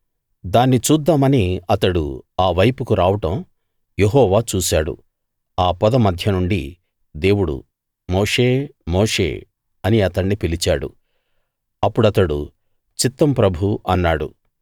దాన్ని చూద్దామని అతడు ఆ వైపుకు రావడం యెహోవా చూశాడు ఆ పొద మధ్య నుండి దేవుడు మోషే మోషే అని అతణ్ణి పిలిచాడు అప్పుడు అతడు చిత్తం ప్రభూ అన్నాడు